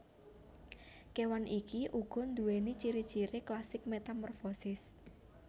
Kewan iki uga duwéni ciri ciri klasik metamorfosis